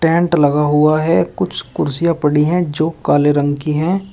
Tent लगा हुआ है कुछ कुर्सियां पड़ी है जो काले रंग की हैं।